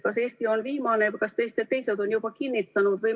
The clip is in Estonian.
Kas Eesti on viimane ja kas teised on juba kinnitanud?